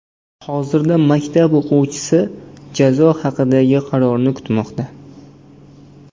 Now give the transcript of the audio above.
Hozirda maktab o‘quvchisi jazo haqidagi qarorni kutmoqda.